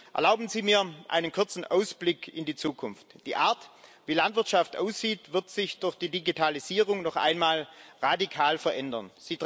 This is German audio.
Erlauben Sie mir einen kurzen Ausblick in die Zukunft Die Art, wie Landwirtschaft aussieht, wird sich durch die Digitalisierung noch einmal radikal verändern.